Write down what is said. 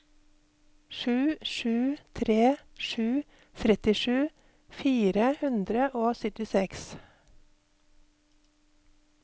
sju sju tre sju trettisju fire hundre og syttiseks